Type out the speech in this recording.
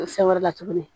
Fɛn wɛrɛ la tuguni